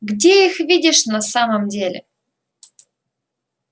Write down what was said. где их видишь на самом деле